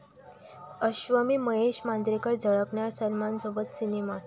अश्वमी महेश मांजरेकर झळकणार सलमानसोबत सिनेमात!